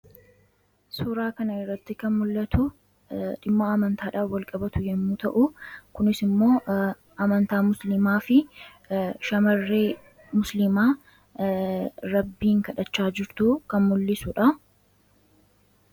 Suuraa kana irratti kan mul'atu dhimma amantaadhaan walqabatu yammuu ta'u; Kunis immoo amantaa musliimaa fi shaamarree musliimaa rabbiin kadhachaa jirtu kan mul'isudha.